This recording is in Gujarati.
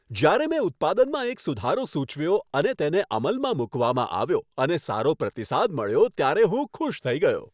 જ્યારે મેં ઉત્પાદનમાં એક સુધારો સૂચવ્યો, અને તેને અમલમાં મૂકવામાં આવ્યો અને સારો પ્રતિસાદ મળ્યો, ત્યારે હું ખુશ થઈ ગયો.